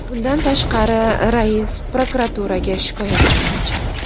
Bundan tashqari, rais prokuraturaga shikoyat qilmoqchi.